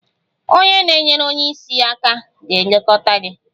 Onye na-enyere onye isi aka ga-elekọta gị